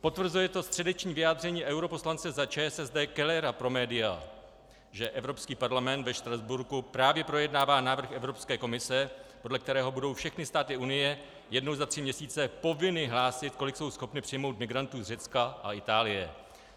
Potvrzuje to středeční vyjádření europoslance za ČSSD Kellera pro média, že Evropský parlament ve Štrasburku právě projednává návrh Evropské komise, podle kterého budou všechny státy Unie jednou za tři měsíce povinny nahlásit, kolik jsou schopny přijmout migrantů z Řecka a Itálie.